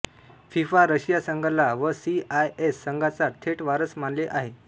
FIFA Russia संघाला व C I S संघांचा थेट वारस मानले आहे